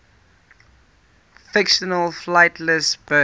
fictional flightless birds